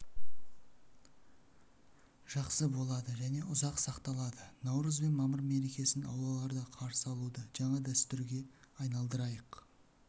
жақсы болады және ұзақ сақталады наурыз бен мамыр мерекесін аулаларда қарсы алуды жақсы дәстүрге айналдырайық